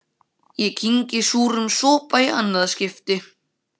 Ég kyngi súrum sopa í annað skipti.